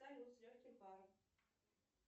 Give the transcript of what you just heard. салют с легким паром